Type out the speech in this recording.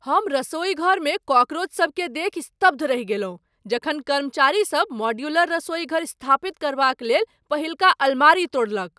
हम रसोईघरमे कॉकरोचसभकेँ देखि स्तब्ध रहि गेलहुँ जखन कर्मचारीसभ मॉड्यूलर रसोईघर स्थापित करबाक लेल पहिलका अलमारी तोड़लक।